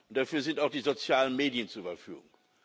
dafür sind auch die sozialen Medien zur Verfügung.